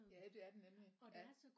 Ja det er den nemlig ja